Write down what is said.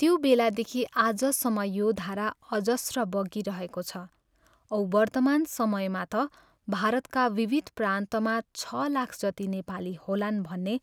त्यो बेलादेखि आजसम्म यो धारा अजस्त्र बगिरहेको छ औ वर्तमान समयमा त भारतका विविध प्रान्तमा छ लाख जति नेपाली होलान् भन्ने